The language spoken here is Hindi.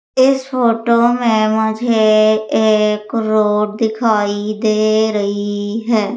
इस फोटो में मुझे एक रोड दिखाई दे रही है।